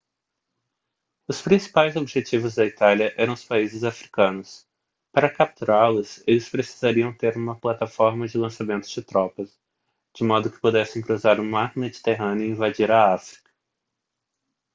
os principais objetivos da itália eram os países africanos para capturá-los eles precisariam ter uma plataforma de lançamento de tropas de modo que pudessem cruzar o mar mediterrâneo e invadir a áfrica